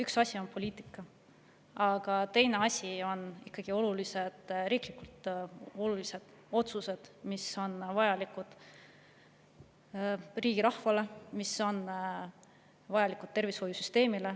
Üks asi on poliitika, aga teine asi on ikkagi riiklikult olulised otsused, mis on vajalikud rahvale ja tervishoiusüsteemile.